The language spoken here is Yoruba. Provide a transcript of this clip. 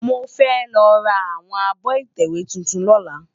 Mó fè lò rá áwòn ábò itèwé tútún lòlá